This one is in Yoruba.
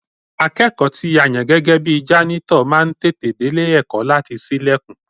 Akẹ́kọ̀ọ́ tí a yàn gẹ́gẹ́ bi jánítọ̀ máa ń tètè délé ẹ̀kọ́ láti ṣílẹ̀kùn